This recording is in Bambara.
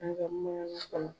An ga